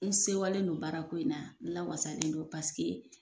N sewalen don baara ko in na n lawasalen don paseke